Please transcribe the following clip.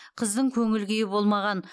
қыздың көңіл күйі болмаған